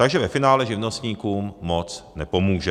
Takže ve finále živnostníkům moc nepomůže.